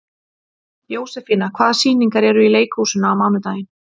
Jósefína, hvaða sýningar eru í leikhúsinu á mánudaginn?